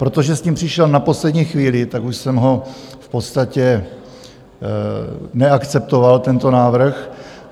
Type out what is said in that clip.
Protože s tím přišel na poslední chvíli, tak už jsem ho v podstatě neakceptoval, tento návrh.